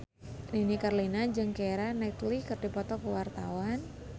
Nini Carlina jeung Keira Knightley keur dipoto ku wartawan